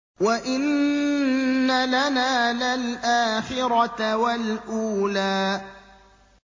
وَإِنَّ لَنَا لَلْآخِرَةَ وَالْأُولَىٰ